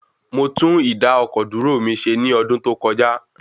Mo tún ìdá-ọkọ̀-dúró mi ṣe ní ọdún tó kọjá.